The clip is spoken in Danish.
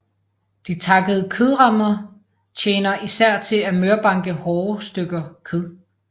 De takkede kødhamre tjener især til at mørbanke hårde stykker kød